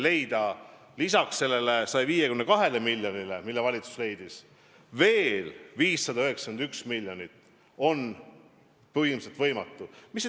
Leida selle 152 miljoni asemel, mis valitsus praegu on eraldanud, 591 miljonit on põhimõtteliselt võimatu.